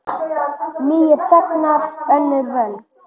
Nýir þegnar, önnur völd.